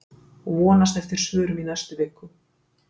Vonast eftir svörum í næstu viku